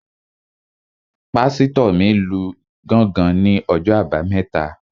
Pásítọ̀ mi lu gángan ní ọjọ́ àbámẹ́ta